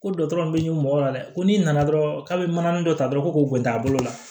Ko bɛ ɲini mɔgɔ la dɛ ko n'i nana dɔrɔn k'a bɛ manani dɔ ta dɔrɔn ko t'a bolo la